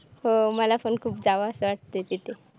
मला पण खूप जावस वाटतय तिथे